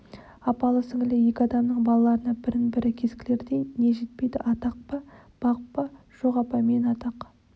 апалы-сіңлілі екі адамның балаларына бірін-бірі кескілердей не жетпейді атақ па бақ па жоқ апа мен атақ